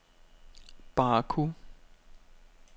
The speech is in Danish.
Baku